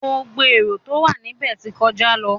Gbogbo erò tó wà níbẹ̀ tí ń kọjá.